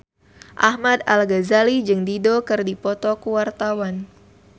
Ahmad Al-Ghazali jeung Dido keur dipoto ku wartawan